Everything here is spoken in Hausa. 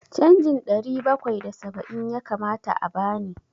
Canjin ɗari bakwai da saba'in ya kamata a bani.